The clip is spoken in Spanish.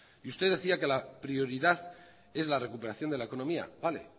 usted decía que la prioridad es la recuperación de la economía vale